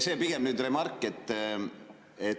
See on pigem nüüd remark.